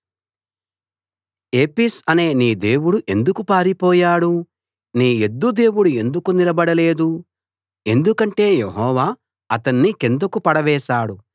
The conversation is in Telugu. ఏపిస్ అనే నీ దేవుడు ఎందుకు పారిపోయాడు నీ ఎద్దు దేవుడు ఎందుకు నిలబడలేదు ఎందుకంటే యెహోవా అతణ్ణి కిందకు పడవేశాడు